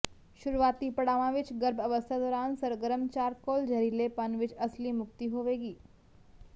ਸ਼ੁਰੂਆਤੀ ਪੜਾਵਾਂ ਵਿਚ ਗਰਭ ਅਵਸਥਾ ਦੌਰਾਨ ਸਰਗਰਮ ਚਾਰਕੋਲ ਜ਼ਹਿਰੀਲੇਪਨ ਵਿਚ ਅਸਲੀ ਮੁਕਤੀ ਹੋਵੇਗੀ